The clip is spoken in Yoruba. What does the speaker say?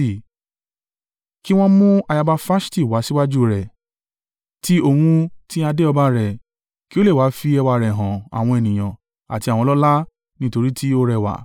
Kí wọn mú ayaba Faṣti wá síwájú rẹ̀, ti òun ti adé ọba rẹ̀, kí ó lè wá fi ẹwà rẹ̀ hàn àwọn ènìyàn àti àwọn ọlọ́lá, nítorí tí ó rẹwà.